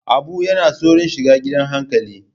Abu yana tsoron shiga gidan hankali.